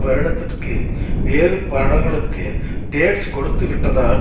வருடத்திற்கு வேறு படங்களுக்கு டேட்ஸ் கொடுத்துவிட்டதால்